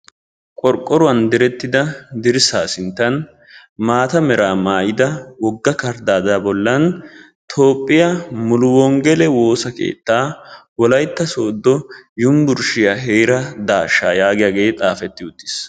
Qorqoruwaan direettida dirssa sinttan maata meera maayida wogga kardaadaa bollan Toophphiya mulu wonggele woosa keettaa Wolaytta Sooddo yunbburshshiya heera daashshaa yaagiyagee xaafetti uttiis.